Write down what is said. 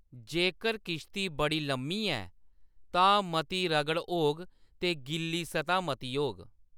जेकर किश्ती बड़ी लम्मी ऐ, तां मती रगड़ होग ते गिल्ली सतह मती होग।